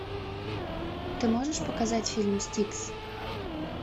ты можешь показать фильм стикс